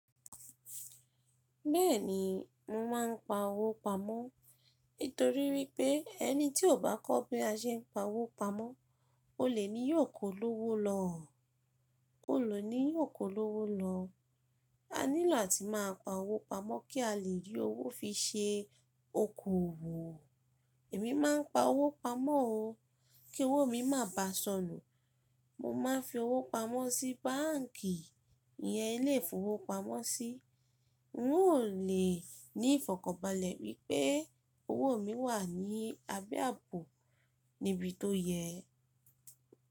Bẹ́ẹ̀ni, mo máa ń pa owó pamọ́. Nítorí wípé, ẹni tí ò bá kọ́ bí a se ń pa owó pamọ́, olè ni yóò kó lówó lọ, ole ni yóò kó lówó lọ. A nílò áti máa pa owó pamọ́ kí a lè rí owó fi ṣe oko òwò. Èmi má ń pa owó pamọ́ o, kí owó mi má ba sọnù. Mo máa n fi owó pamọ́ sí báǹkì, ìyẹn ilé ìfowópamọ́sí. N ó lè ní ìfọ̀kànbalẹ̀ wípé owó mi wà ní abé àbò níbi tó yẹ.